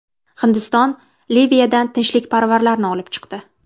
Hindiston Liviyadan tinchlikparvarlarni olib chiqdi.